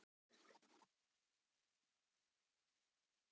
En ég er ekki búinn að skrifa biskupnum.